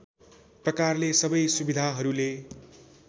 प्रकारले सबै सुविधाहरूले